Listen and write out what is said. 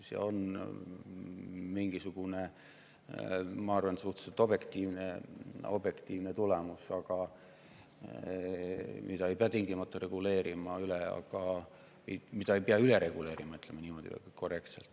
See on mingisugune, ma arvan, suhteliselt objektiivne tulemus, mida ei pea tingimata üle reguleerima, ütleme niimoodi.